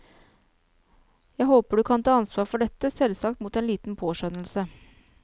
Jeg håper du kan ta ansvar for dette, selvsagt mot en liten påskjønnelse.